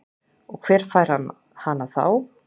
Og hver fær hana þá?